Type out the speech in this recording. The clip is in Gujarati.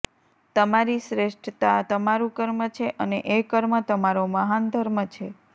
તમારી શ્રેષ્ઠતા તમારું કર્મ છે અને એ કર્મ તમારો મહાન ધર્મ છે